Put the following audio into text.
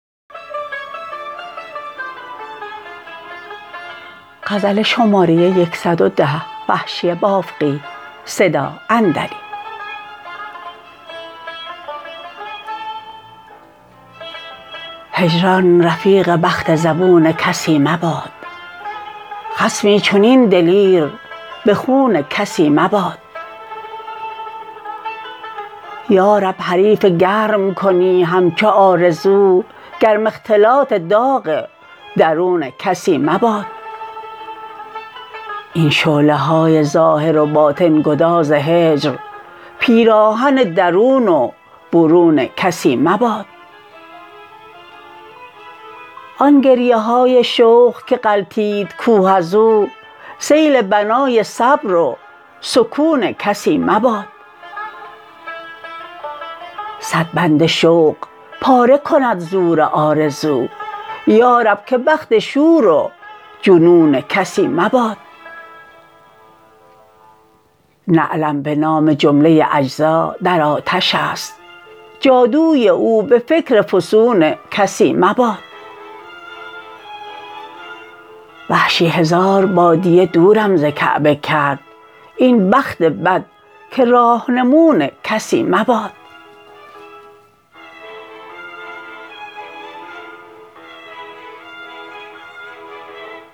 هجران رفیق بخت زبون کسی مباد خصمی چنین دلیر به خون کسی مباد یارب حریف گرم کنی همچو آرزو گرم اختلاط داغ درون کسی مباد این شعله های ظاهر و باطن گداز هجر پیراهن درون و برون کسی مباد آن گریه های شوق که غلتید کوه از او سیل بنای صبر و سکون کسی مباد صد بند شوق پاره کند زور آرزو یارب که بخت شور و جنون کسی مباد نعلم به نام جمله اجزا در آتش است جادوی او به فکر فسون کسی مباد وحشی هزار بادیه دورم ز کعبه کرد این بخت بد که راهنمون کسی مباد